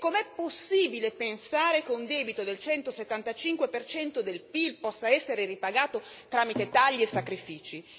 E com'è possibile pensare che un debito del 175 per cento del PIL possa essere ripagato tramite tagli e sacrifici?